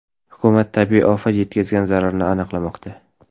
Hukumat tabiiy ofat yetkazgan zararni aniqlamoqda.